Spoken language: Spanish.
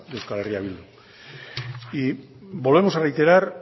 euskal herria bildu y volvemos a reiterar